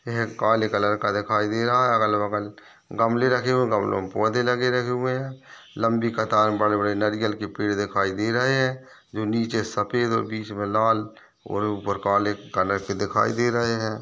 यह काले कलर मन का दिखाई दे रहा अगल -बगल गमले रखे हुए है गमलो में पौधे लगे -लगे हुए है लम्बी कतार में बड़े -बड़े नरियल के पेड़ दिखाई दे रहे है जो नीचे सफ़ेद और बीच में लाल और ऊपर काले कलर के दिखाई दे रहे हैं।